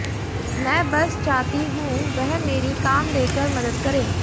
मैं बस चाहती हूं वह मेरी काम देकर मदद करें